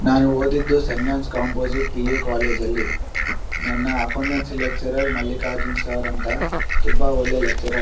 ನಾನು ಓದಿದ್ದು saint John composite PU college ಅಲ್ಲಿ ನನ್ನ accountancy lecturer Mallikarjun sir ಅಂತ ತುಂಬಾ ಒಳ್ಳೆ ಲೆಕ್ಚರ್ .